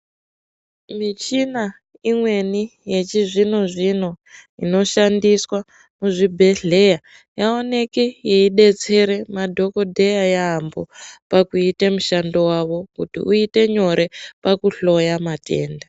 Michina imweni yechizvino-zvino inoshandiswa muzvibhedhlera yaoneke yeidetsera madhokodheya yambo paakuite mushando wavo kuti uite nyore pakuhloye matenda.